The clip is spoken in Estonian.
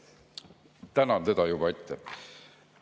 Tänan teda juba ette.